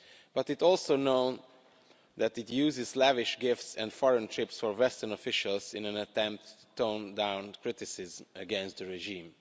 But it is also known that it uses lavish gifts and foreign trips for Western officials in an attempt to tone down criticism against the regime.